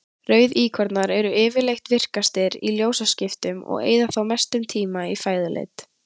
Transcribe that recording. Rauðíkornar eru yfirleitt virkastir í ljósaskiptunum og eyða þá mestum tíma í fæðuleit.